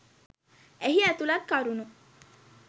එහි ඇතුළත් කරුණු